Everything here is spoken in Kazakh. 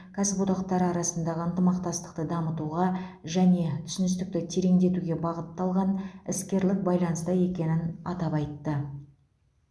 кәсіподақтары арасындағы ынтымақтастықты дамытуға және түсіністікті тереңдетуге бағытталған іскерлік байланыста екенін атап айтты